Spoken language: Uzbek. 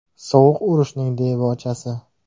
Sovuq urushning debochasi.